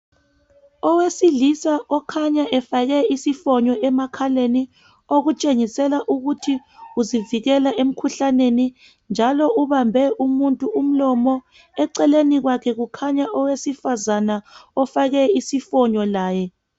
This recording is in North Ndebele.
Owesilisa okhanya efake isifonyo emakhaleni, okutshengisela ukuthi uzivikela emkhuhlaneni njalo ubambe umuntu umlomo. Eceleni kwakhe kukhanya owesifazana ofake isifonyo laye.